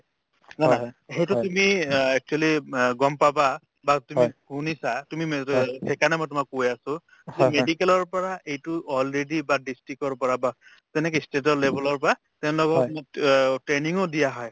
নে নহয় সেইটো তুমি অ actually ওব অ গম পাবা বা তুমি শুনিছা তুমি মেজৰ সেইকাৰণে মই তোমাক কৈ আছো তুমি medical ৰ পৰা এইটো already বা district ৰ পৰা বা তেনেকে state ৰ level ৰ পৰা stand up হৈ অ training ও দিয়া হয়